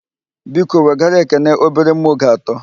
Biko wegara Ekene obere mma oge atọ